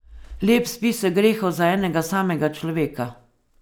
Lep spisek grehov za enega samega človeka.